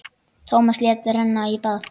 Tómas lét renna í bað.